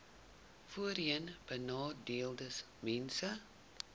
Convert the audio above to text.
voorheenbenadeeldesmense